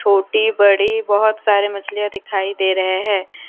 छोटी बड़ी बहोत सारी मछलियाँ दिखाई दे रहे हैं।